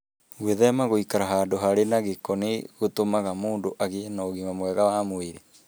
Gwĩthema gũikara handũ harĩ na gĩko nĩ gũtũmaga mũndũ agĩe na ũgima mwega wa mwĩrĩ.